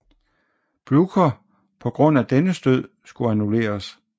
Bljukher på grund af dennes død skulle annulleres